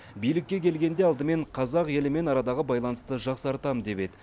билікке келгенде алдымен қазақ елімен арадағы байланысты жақсартамын деп еді